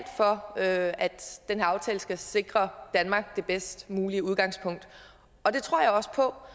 for at at den her aftale skal sikre danmark det bedst mulige udgangspunkt og det tror jeg også på